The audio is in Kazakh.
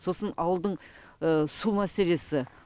сосын ауылдың су мәселесі